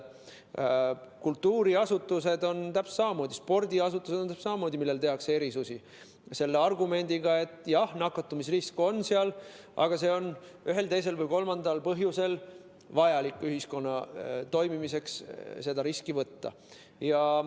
Kultuuriasutustele samamoodi, spordiasutustele samamoodi tehakse erandeid, selle argumendiga, et jah, nakatumisrisk seal on, aga ühel, teisel või kolmandal põhjusel on ühiskonna toimimiseks vaja see risk võtta.